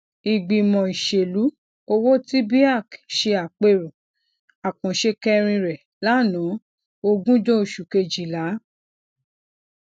ìgbìmọ ìṣèlú owó ti beac ṣe àpérò àkànṣe kẹrin rẹ lanaa ogunjo oṣù kejìlá